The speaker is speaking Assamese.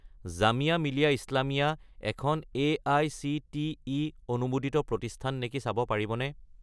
জামিয়া মিলিয়া ইছলামিয়া এখন এআইচিটিই অনুমোদিত প্ৰতিষ্ঠান নেকি চাব পাৰিবনে?